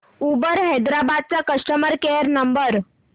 Uber Hyderabad चा customer care number